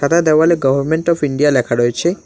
দেওয়ালে government of India ল্যাখা রয়েছে।